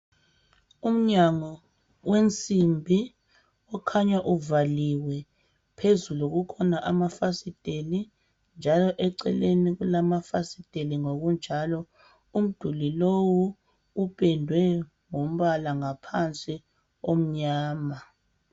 Umnyango wensimbi okhanya uvaliwe phezulu kukhona amafasiteli njalo eceleni kulamafasiteli ngokunjalo. Umduli lowu upendwe ngombala ngaphansi omnyama.